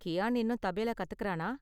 கியான் இன்னும் தபேலா கத்துக்கறானா?